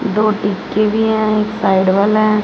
दो टिक्के भी हैं एक साइड वाला है।